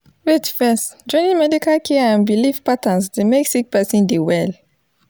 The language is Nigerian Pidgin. wait first joining medical care and bilif patterns dey mek sik peron dey well